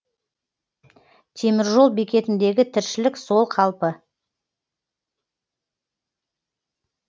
теміржол бекетіндегі тіршілік сол қалпы